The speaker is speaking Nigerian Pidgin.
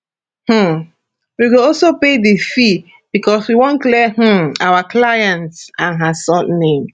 um we go also pay di fee becos we wan clear um our clients and her son name